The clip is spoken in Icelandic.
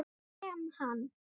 Ég lem hann.